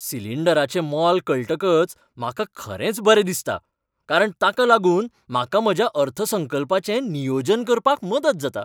सिलिंडराचें मोल कळटकच म्हाका खरेंच बरें दिसता, कारण ताका लागून म्हाका म्हज्या अर्थसंकल्पाचें नियोजन करपाक मदत जाता.